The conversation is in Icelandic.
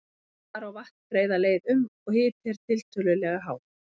Þar á vatn greiða leið um, og hiti er tiltölulega hár.